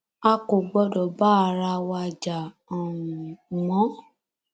a kò gbọdọ bá ara wa jà um mọ